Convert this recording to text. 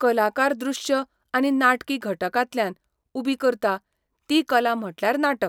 कलाकार दृश्य आनी नाटकी घटकांतल्यान उबी करता ती कला म्हटल्यार नाटक.